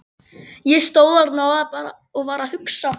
Ég stóð þarna og var að hugsa.